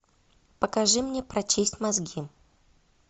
покажи мне прочисть мозги